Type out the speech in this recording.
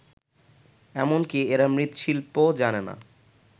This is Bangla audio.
এমনকি এরা মৃৎশিল্পও জানে না